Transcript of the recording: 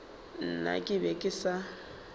nna ke be ke sa